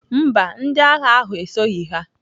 Mba, ndị agha ahụ esoghị ha.